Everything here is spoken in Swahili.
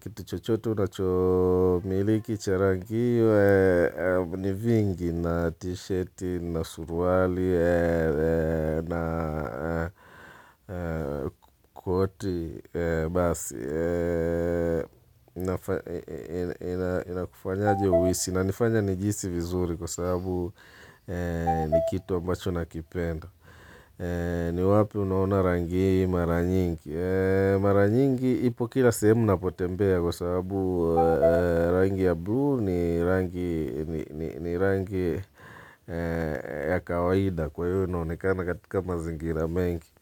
Kitu chochote unachomiliki cha rangi hiyo, ni vingi, na t-shirt, na suruali, na koti, basi. Inakufanyaje uhisi inanifanya nijihisi vizuri kwa sababu ni kitu ambacho nakipenda ni wapi unaona rangi mara nyingi mara nyingi ipo kila sehemu napotembea kwa sababu rangi ya blue ni rangi ya kawaida kwaiyo inaonekana katika mazingira mengi.